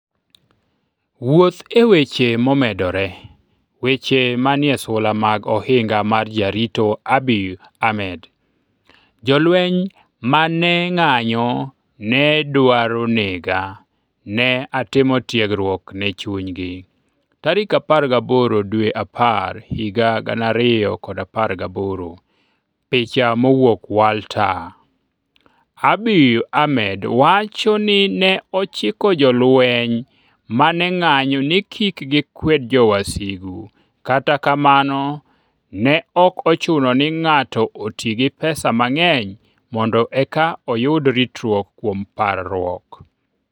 Wuoth e weche momedore Weche Manie Sula mag Ohinga mar Jarito Abiy Ahmed: Jolweny ma ne ng'anyo ne dwaro nega, ne atimo tiegruok ne chunygi 18 Oktoba, 2018 Picha mowuok Walta Abiy Ahmed wacho ni ne ochiko jolweny ma ne ng'anyo ni kik gikwed jowasigu. Kata kamano, ne ok ochuno ni ng'ato oti gi pesa mang'eny mondo eka oyud ritruok kuom parruok.